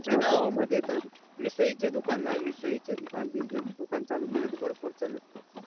आमच्या गावा मधे तर मिसळी चे दूकान नाय, मिसळि चे दुकान business दूकान चालू केले तर भरपूर चलल